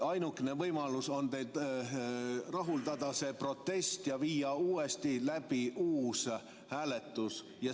Ainukene võimalus on teil rahuldada see protest ja viia läbi uus hääletus.